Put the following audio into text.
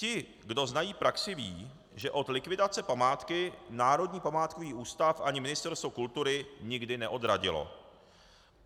Ti, kdo znají praxi, vědí, že od likvidace památky Národní památkový ústav ani Ministerstvo kultury nikdy neodradily.